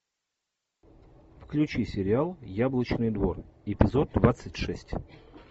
включи сериал яблочный двор эпизод двадцать шесть